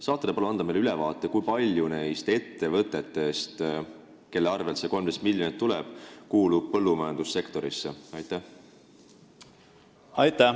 Kas te saate palun anda meile ülevaate, kui paljud neist ettevõtetest, kelle arvel see 13 miljonit tuleb, kuuluvad põllumajandussektorisse?